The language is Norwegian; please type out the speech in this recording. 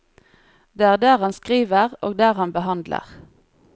Det er der han skriver og der han behandler.